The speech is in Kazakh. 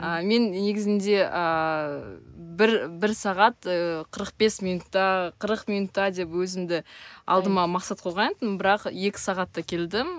а мен негізінде ааа бір бір сағат ы қырық бес минутта қырық минутта деп өзімді алдыма мақсат қойған едім бірақ екі сағатта келдім